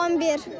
11.